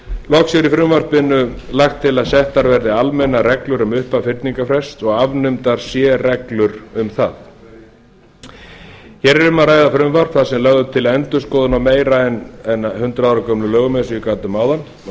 loks er í frumvarpinu lagt til að settar verði almennar reglur um upphaf fyrningarfrests og því verði afnumdar sérreglur um það efni hér er um að ræða frumvarp þar sem lögð er til endurskoðun á meira en hundrað ára gömlum lögum eins og ég gat um áðan og